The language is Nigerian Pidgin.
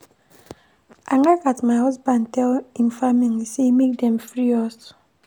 I like as my husband tell im family sey make dem free us.